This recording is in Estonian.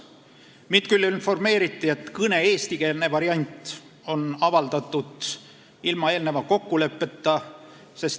Mind küll informeeriti, et kõne eestikeelne variant on avaldatud ilma eelneva kokkuleppeta.